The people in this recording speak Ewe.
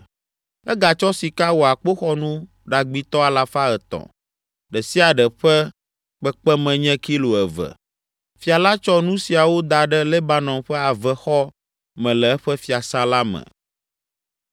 Egatsɔ sika wɔ akpoxɔnu ɖagbitɔ alafa etɔ̃ (300), ɖe sia ɖe ƒe kpekpeme nye kilo eve. Fia la tsɔ nu siawo da ɖe Lebanon ƒe Avexɔ me le eƒe fiasã la me.